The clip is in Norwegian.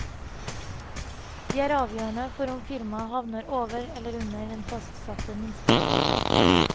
De er avgjørende for om firmaet havner over eller under den fastsatte minsteprisen.